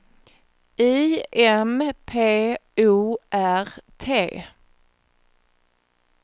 I M P O R T